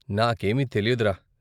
నాకేమీ తెలియదురా.